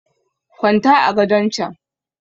kwanta a gadon chan!